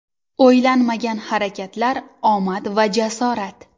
O‘ylanmagan harakatlar, omad va jasorat.